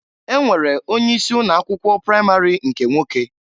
E nwere onye isi ụnọ akwụkwọ pramari nke nwoke.